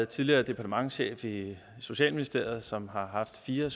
tidligere departementschef i socialministeriet som har haft fire